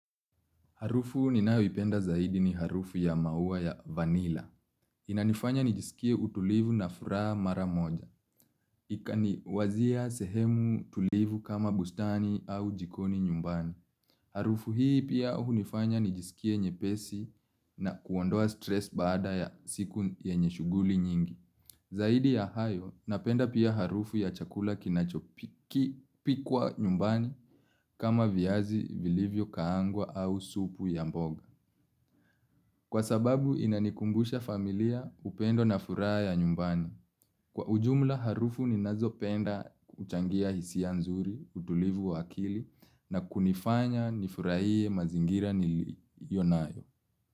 Harufu ninayoipenda zaidi ni harufu ya maua ya vanilla. Inanifanya nijisikie utulivu na furaha mara moja. Ikaniwazia sehemu tulivu kama bustani au jikoni nyumbani. Harufu hii pia hunifanya nijisikie nyepesi na kuondoa stress baada ya siku yenye shuguli nyingi. Zaidi ya hayo napenda pia harufu ya chakula kinachopikwa nyumbani kama viazi vilivyo kaangwa au supu ya mboga. Kwa sababu inanikumbusha familia upendo na furaha ya nyumbani. Kwa ujumla harufu ninazo penda huchangia hisia nzuri, utulivu wa akili na kunifanya nifurahie mazingira niliyo nayo.